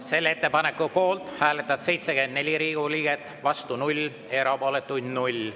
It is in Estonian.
Selle ettepaneku poolt hääletas 74 Riigikogu liiget, vastu 0, erapooletuid oli 0.